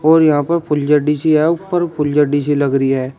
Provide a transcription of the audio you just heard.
और यहां पर फुलझड़ी सी है ऊपर फुलझड़ी सी लग रही है।